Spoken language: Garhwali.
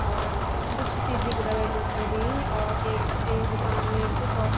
और कुछ चीजी बि दवे मिल सकदी और एक द एक दुकान वेक च कोस --